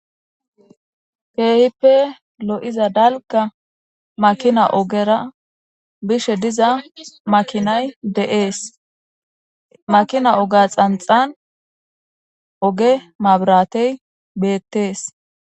Keehippe lo'iza dalka makina ogera bishe diza makinay de'ees makina oga xanxan oge mabratey beettees